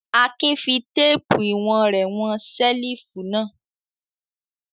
Akin fi téépù ìwọ̀n rẹ̀ wọn ṣẹ́lífù náà.